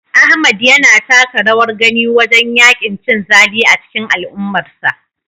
Ahmad yana taka rawar gani wajen yaƙin cin zali a cikin al'ummarsa.